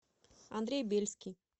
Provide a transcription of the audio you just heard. андрей бельский